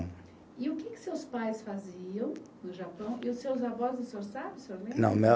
E o que que seus pais faziam no Japão? E os seus avós o senhor sabe, o senhor? Não, meu